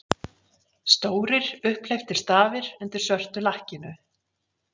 Stórir, upphleyptir stafir undir svörtu lakkinu!